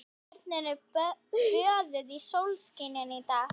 Tjörnin er böðuð sólskini í dag.